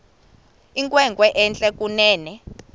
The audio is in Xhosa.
inkwenkwe entle kunene